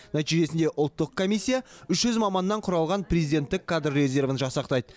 нәтижесінде ұлттық комиссия үш жүз маманнан құралған президенттік кадр резервін жасақтайды